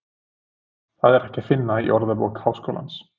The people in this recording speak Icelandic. Það er ekki að finna í Orðabók Háskólans.